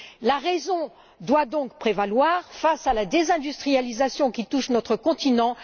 La raison doit donc prévaloir face à la désindustrialisation qui touche notre continent.